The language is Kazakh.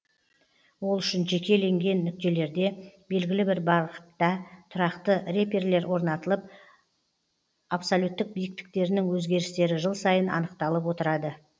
ол үшін жекеленген нүктелерде белгілі бір бағытта тұрақты реперлер орнатылып оның абсолюттік биіктіктерінің өзгерістері жыл сайын анықталып отырады